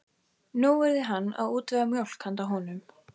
Nú yrði hann að útvega mjólk handa honum.